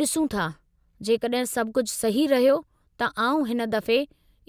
ॾिसूं था जेकॾहिं सभु कुझु सही रहियो त आउं हिन दफ़े